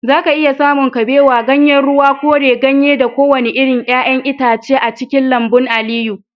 zaka iya samun kabewa, ganyen ruwa, koren ganye da kowane irin 'ya'yan itace a cikin lambun Aliyu